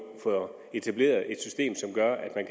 får etableret et system som gør at man